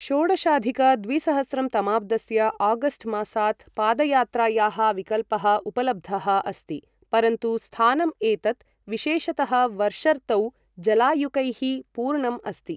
षोडशाधिक द्विसहस्रं तमाब्दस्य आगस्ट् मासात् पदयात्रायाः विकल्पः उपलब्धः अस्ति, परन्तु स्थानम् एतत्, विशेषतः वर्षर्तौ जलायुकैः पूर्णम् अस्ति।